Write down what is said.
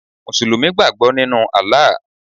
Mùsùlùmí gbàgbọ́ nínu Allah